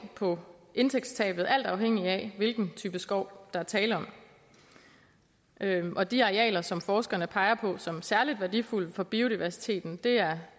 på indtægtstabet alt afhængigt af hvilken type skov der er tale om og de arealer som forskerne peger på som særligt værdifulde for biodiversiteten er